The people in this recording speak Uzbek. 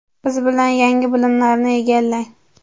biz bilan yangi bilimlarni egallang.